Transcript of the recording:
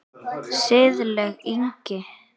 Siðleg lygi.